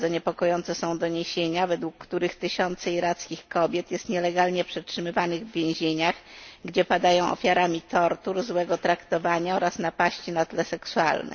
Bardzo niepokojące są doniesienia, według których tysiące irackich kobiet jest nielegalnie przetrzymywanych w więzieniach, gdzie padają ofiarami tortur, złego traktowania oraz napaści na tle seksualnym.